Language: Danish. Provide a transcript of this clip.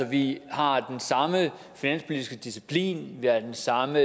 vi har den samme finanspolitiske disciplin vi har den samme